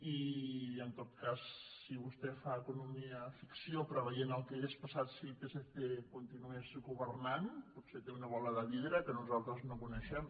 i en tot cas si vostè fa economiaficció preveient el que hauria passat si el psc continués governant potser té una bola de vidre que nosaltres no coneixem